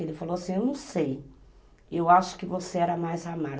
Ele falou assim, eu não sei, eu acho que você era mais ama